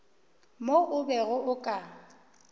mo o bego o ka